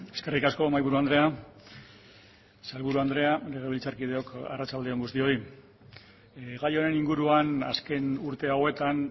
eskerrik asko mahaiburu andrea sailburu andrea legebiltzarkideok eskerrik asko guztioi gai honen inguruan azken urte hauetan